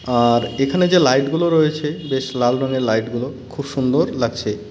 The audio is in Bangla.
আর এখানে যে লাইটগুলো রয়েছে বেশ লাল রঙের লাইটগুলো খুব সুন্দর লাগছে.